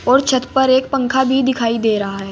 और छत पर एक पंखा भी दिखाई दे रहा है।